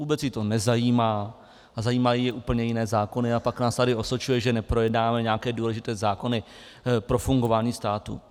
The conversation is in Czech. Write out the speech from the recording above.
Vůbec ji to nezajímá a zajímají ji úplně jiné zákony, a pak nás tady osočuje, že neprojednáme nějaké důležité zákony pro fungování státu.